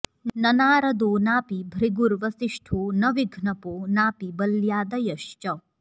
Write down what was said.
न नारदो नापि भृगुर्वसिष्ठो न विघ्नपो नापि बल्यादयश्च